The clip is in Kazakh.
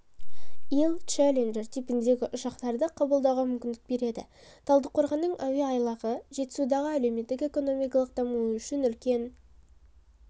ил челленджер типіндегі ұшақтарды қабылдауға мүмкіндік береді талдықорғанның әуе айлағы жетісудың әлеуметтік-экономикалық дамуы үшін үлкен